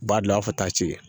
B'a bila fo taa ci